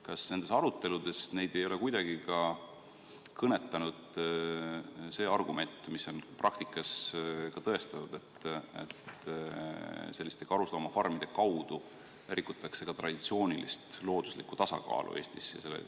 Kas nendes aruteludes ei ole neid kuidagi kõnetanud see argument, mis on praktikas tõestatud, et selliste karusloomafarmide kaudu rikutakse ka traditsioonilist looduslikku tasakaalu Eestis?